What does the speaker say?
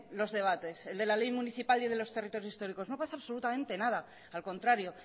los debates el de la ley municipal y el de los territorios históricos no pasa absolutamente nada al contrario